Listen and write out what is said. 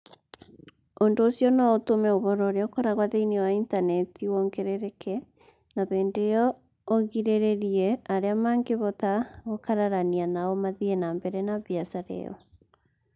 Ũndũ ũcio no ũtũme ũhoro ũrĩa ũkoragwo thĩinĩ wa Intaneti wongerereke na hĩndĩ o ĩyo ũgirĩrĩrie arĩa mangĩhota gũkararania nao mathiĩ na mbere na biacara ĩyo.